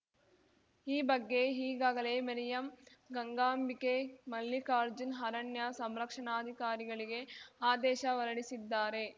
ಈ ಬಗ್ಗೆ ಈಗಾಗಲೇ ಮೇರ್ಯಾಂ ಗಂಗಾಂಬಿಕೆ ಮಲ್ಲಿಕಾರ್ಜುನ್‌ ಅರಣ್ಯ ಸಂರಕ್ಷಣಾಧಿಕಾರಿಗಳಿಗೆ ಆದೇಶ ಹೊರಡಿಸಿದ್ದಾರೆ